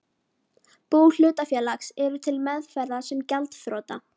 bú hlutafélags, eru til meðferðar sem gjaldþrota.